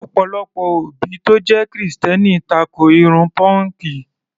Ọ̀pọ̀lọpọ̀ òbí tó jẹ́ Kìrìsìtẹ́ẹ́nì tako irun pọ́ǹkì.